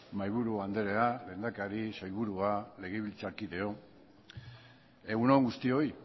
mahaiburu andrea lehendakari sailburua legebiltzarkideok egun on guztioi